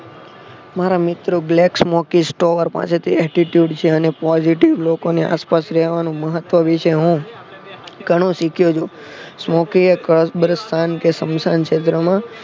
મારા મિત્રો Glax MockStower પાસે થી Attitude છે અને positive લોકો ની આસપાસ રહેવાનું મહત્વ વિશે હું ઘણું શીખ્યો છું સ્મોકી એ કબરસ્થાન સ્મશાનક્ષેત્રમાં